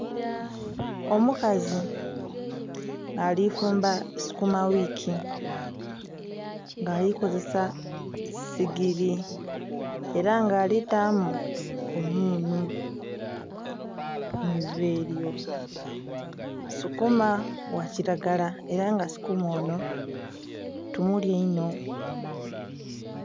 Omukazi ali fumba sukuma wiki, nga ali kozesa sigili, ela nga ali taamu omunhu mu iva elyo. Sukuma gha kilagala ela nga Sukuma onho, tumulya inho.